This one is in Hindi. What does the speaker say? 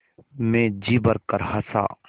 मैं जी भरकर हँसा